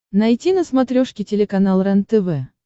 найти на смотрешке телеканал рентв